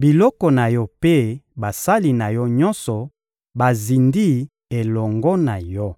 biloko na yo mpe basali na yo nyonso bazindi elongo na yo.